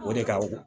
O de ka